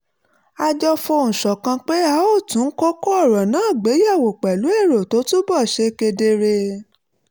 a jọ fohùn ṣọ̀kan pé a óò tún kókó ọ̀rọ̀ náà gbé yẹ̀wò pẹ̀lú èrò tó túbọ̀ ṣe kedere